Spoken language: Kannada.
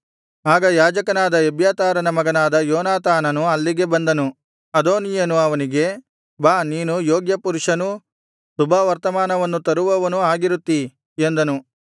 ಆಗ ಯಾಜಕನಾದ ಎಬ್ಯಾತಾರನ ಮಗನಾದ ಯೋನಾತಾನನು ಅಲ್ಲಿಗೆ ಬಂದನು ಅದೋನೀಯನು ಅವನಿಗೆ ಬಾ ನೀನು ಯೋಗ್ಯ ಪುರುಷನೂ ಶುಭವರ್ತಮಾನವನ್ನು ತರುವವನೂ ಆಗಿರುತ್ತೀ ಎಂದನು